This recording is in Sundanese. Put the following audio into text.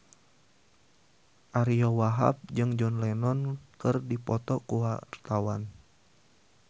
Ariyo Wahab jeung John Lennon keur dipoto ku wartawan